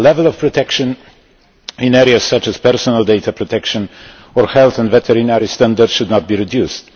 The level of protection in areas such as personal data protection or health and veterinary standards should not be reduced.